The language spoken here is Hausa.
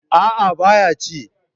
A'a ba ya ci